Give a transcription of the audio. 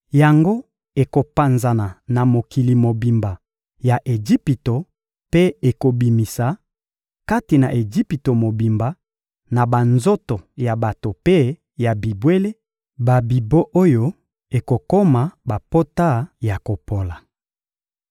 Yango ekopanzana na mokili mobimba ya Ejipito mpe ekobimisa, kati na Ejipito mobimba, na banzoto ya bato mpe ya bibwele, babibon oyo ekokoma bapota ya kopola.»